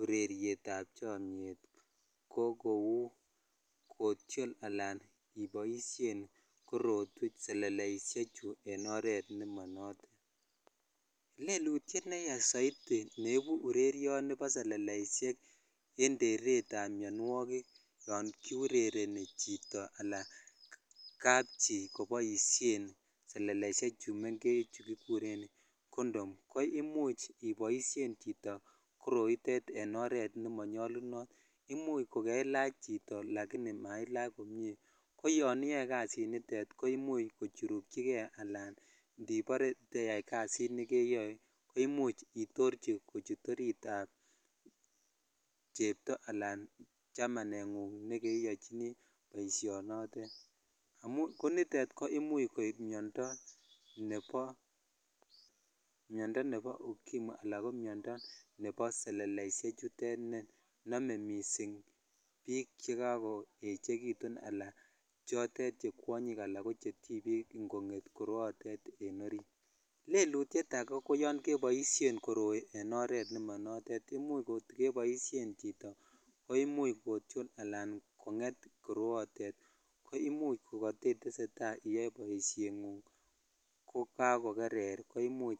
urerietab chomnyet ko kouu otiol alan iboishen seleleishechu en oreet nemonotet, lelutiet neyaa soiti neibu urerioni bo seleleishek en teretab mionwokik yoon kiurereni chito alaa kapchi koboishen seleleishechu mengech chuu kikuren condom ko imuch iboishen chito koroitet en oreet nemonyo nyolunot, imuch ko kelach chito lakini mailach komnye, ko yoon iyoe kasinitet koimuch kochurukyike alaan ndibore teyai kasit nekeyoe ko imuch itorchi kochut oriitab chepto alaan chamaneng'ung nekeyochini boishonotet, konitet ko imuch koib miondo nebo ukimwi alaan ko miondo nebo seleishe chutet nenome mising biik chekakoechekitun alaan chotet che kwonyik alaan ko chetibik ing'onget koroyotet en oriit, leutiet akee ko yoon keboishen koroi en oreet nemonotet, imuch kot keboishen chito koimuch kotiol alaan kong'et koroyotet koimuch ko koteteseta ak boisheng'ung kokakokerer koimuch.